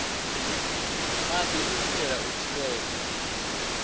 maḓi u itela u thivhela